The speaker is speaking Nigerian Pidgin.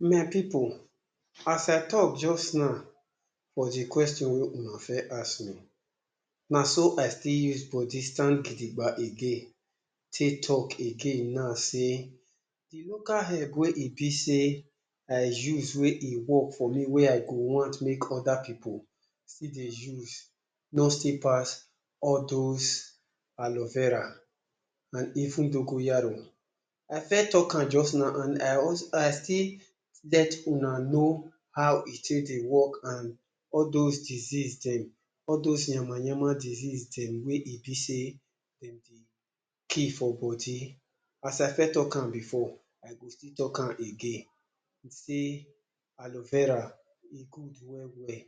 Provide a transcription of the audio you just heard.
My pipu, as I talk just now for the question wey una first ask me, na so I still use body stand gidiba again take talk again now sey, de local herb wey e be sey I use wey e work for me wey I go want make other pipu still dey use no still pass all those Aleo Vera, and even Dogoyaro. I first talk am just now, and I, I still let una know how e take dey work and all those disease dem, all dose yama-yama disease dem wey e be sey dem dey kill for body. As I first talk am before, I go still talk am again, sey Aleo Vera e good well well.